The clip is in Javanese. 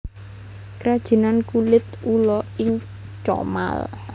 Krajinan Kulit Ula ing Comal